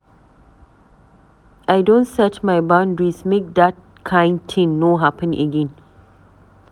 I don set my boundaries make dat kain tin no happen again.